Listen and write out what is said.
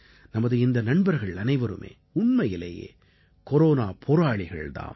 நமது இந்த நண்பர்கள் அனைவருமே உண்மையிலேயே கொரோனா போராளிகள் தாம்